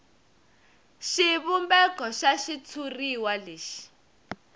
xivumbeko xa xitshuriwa lexi